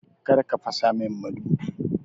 Kar ka fasa min madubi!